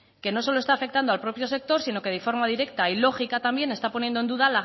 que no solo está afectando al propio sector sino que de forma directa y lógica también está poniendo en duda